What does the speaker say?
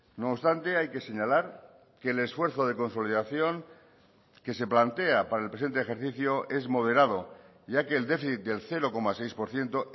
no obstante hay que señalar que el esfuerzo de consolidación que se plantea para el presente ejercicio es moderado ya que el déficit del cero coma seis por ciento